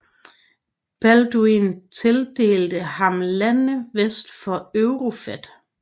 Balduin tildelte ham lande vest for Eufrat